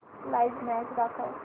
live match दाखव